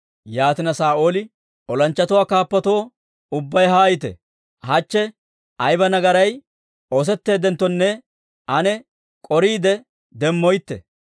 Yaatina Saa'ooli, «Olanchchatuwaa kaappatoo, ubbay haayite; hachche ayba nagaray oosetteeddenttonne ane k'oriide demmoytte.